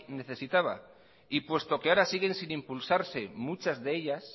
necesitaba y puesto que ahora siguen sin impulsarse muchas de ellas